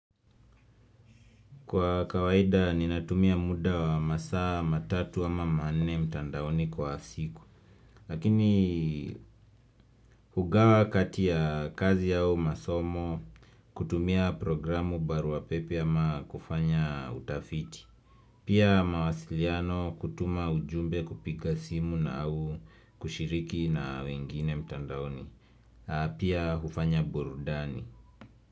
Kwa kawaida ninatumia muda wa masaa matatu ama manne mtandaoni kwa siku Lakini hugawa kati ya kazi au masomo kutumia programu barua pepe ama kufanya utafiti Pia mawasiliano kutuma ujumbe kupiga simu na au kushiriki na wengine mtandaoni Pia hufanya burudani.